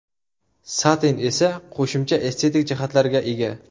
Satin esa qo‘shimcha estetik jihatlarga ega.